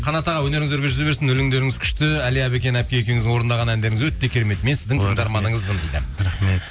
қанат аға өнеріңіз өрге жүзе берсін өлеңдеріңіз күшті әлия әбікен әпке екеуіңіздің орындаған әндеріңіз өте керемет мен сіздің тыңдарманыңызбын дейді рахмет